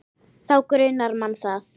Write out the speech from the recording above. Þá grunar mann það.